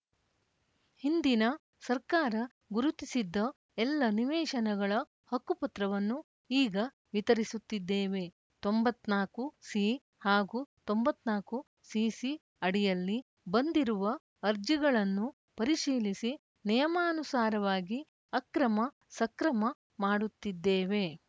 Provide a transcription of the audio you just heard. ಹಿಂದಿನ ಸರ್ಕಾರ ಗುರುತಿಸಿದ್ದ ಎಲ್ಲ ನಿವೇಶನಗಳ ಹಕ್ಕು ಪತ್ರವನ್ನು ಈಗ ವಿತರಿಸುತ್ತಿದ್ದೇವೆ ತೊಂಬತ್ತ್ ನಾಲ್ಕುಸಿ ಹಾಗೂ ತೊಂಬತ್ತ್ ನಾಲ್ಕುಸಿಸಿ ಅಡಿಯಲ್ಲಿ ಬಂದಿರುವ ಅರ್ಜಿಗಳನ್ನು ಪರಿಶೀಲಿಸಿ ನಿಯಮಾನುಸಾರವಾಗಿ ಅಕ್ರಮಸಕ್ರಮ ಮಾಡುತ್ತಿದ್ದೇವೆ